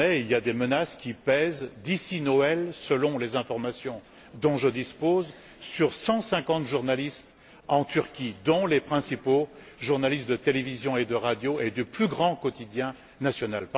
Désormais, des menaces pèsent d'ici Noël, selon les informations dont je dispose sur 150 journalistes en Turquie, dont les principaux journalistes de télévision et de radio ainsi que du plus grand quotidien national.